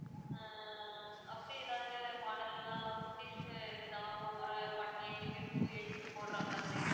ஆஹ் அப்படி ஏதாவது model ல எல்லாம் குட்டீஸ்க்கு இருக்குதா அப்போ ஒரு one age க்கு two age க்கு போடுற மாதிரி